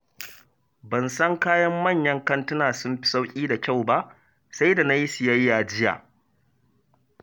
Ban san kayan manyan kantuna sun fi sauƙi da kyau ba, sai da na yi siyayya jiya.